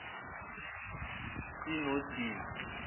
c no d